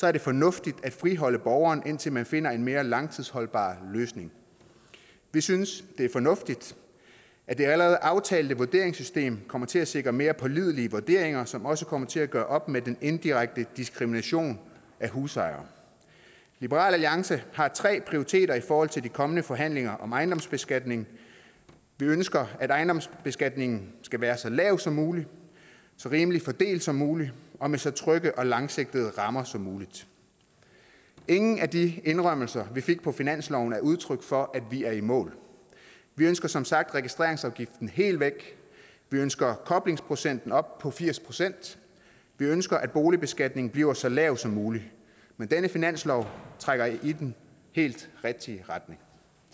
er det fornuftigt at friholde borgeren indtil man finder en mere langtidsholdbar løsning vi synes det er fornuftigt at det allerede aftalte vurderingssystem kommer til at sikre mere pålidelige vurderinger som også kommer til at gøre op med den indirekte diskrimination af husejere liberal alliance har tre prioriteter i forhold til de kommende forhandlinger om ejendomsbeskatning vi ønsker at ejendomsbeskatningen skal være så lav som muligt så rimeligt fordelt som muligt og med så trygge og langsigtede rammer som muligt ingen af de indrømmelser vi fik på finansloven er udtryk for at vi er i mål vi ønsker som sagt registreringsafgiften helt væk vi ønsker koblingsprocenten op på firs procent vi ønsker at boligbeskatningen bliver så lav som muligt men denne finanslov trækker i den helt rigtige retning